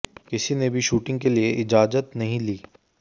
किसी ने भी शूटिंग के लिए इजाजत नहीं ली